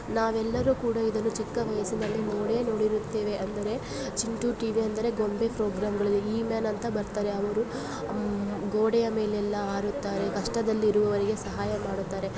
ನಾವೆಲ್ಲಾರು ಕೂಡ ಇದು ಚಿಕ್ಕ ವಯಸ್ಸಿನಲ್ಲಿ ನೋಡೇ ನೋಡಿರುತ್ತೇವೆ ಅಂದರೆ ಚಿಂಟು ಟಿ.ವಿ ಅಂದರೆ ಗೊಂಬೆ ಪ್ರೊಗ್ರಾಮ್ಗಳಲ್ಲಿ ಹೀಮ್ಯಾನ್ ಅಂತ ಬರ್ತಾರೆ ಅವರು ಗೋಡೆಯ ಮೇಲೆ ಎಲ್ಲಾ ಹಾರುತ್ತಾರೆ ಕಷ್ಟದಲ್ಲಿ ಇರುವವರಿಗೆ ಸಹಾಯ ಮಾಡುತ್ತಾರೆ .